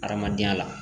Hadamadenya la